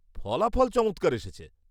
ফলাফল চমৎকার এসেছে।